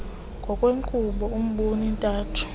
ngokwenkqubo embombo ntathu